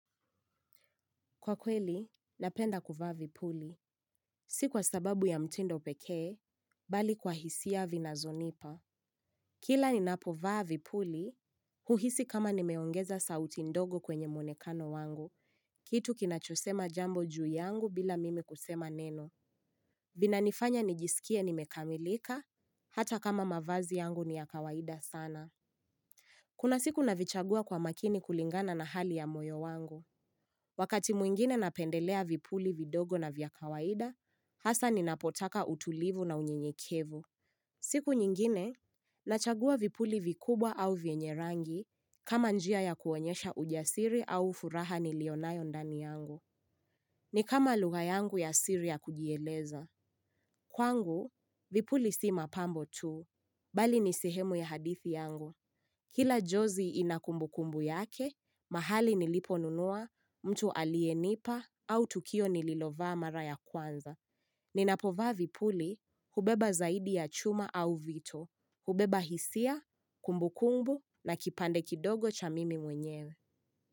Kwa kweli, napenda kuvaa vipuli. Sikuwa sababu ya mtindo pekee, bali kwa hisia vinazonipa. Kila ni napovaa vipuli, huhisi kama nimeongeza sauti ndogo kwenye mwonekano wangu. Kitu kinachosema jambo juu yangu bila mimi kusema neno. Vina nifanya nijisikie nimekamilika, hata kama mavazi yangu ni ya kawaida sana. Kuna siku navichagua kwa makini kulingana na hali ya moyo wangu. Wakati mwingine napendelea vipuli vidogo na vyakawaida, hasa ninapotaka utulivu na unyenyekevu. Siku nyingine, nachagua vipuli vikubwa au vyenye rangi kama njia ya kuonyesha ujasiri au furaha nilionayo ndani yangu. Ni kama lugha yangu ya siri ya kujieleza. Kwangu, vipuli si mapambo tuu. Bali ni sihemu ya hadithi yangu. Kila jozi inakumbukumbu yake, mahali niliponunua mtu alienipa au tukio nililovaa mara ya kwanza. Ninapovaa vipuli hubeba zaidi ya chuma au vito. Hubeba hisia, kumbukumbu na kipande kidogo cha mimi mwenyewe.